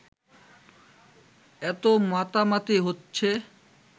এতো মাতামাতি হচ্ছে